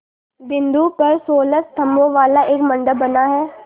बिंदु पर सोलह स्तंभों वाला एक मंडप बना है